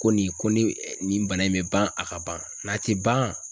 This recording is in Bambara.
Ko nin ko ni nin bana in bɛ ban a ka ban n'a ti ban